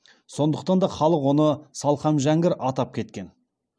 сондықтан да халық оны салқам жәңгір атап кеткен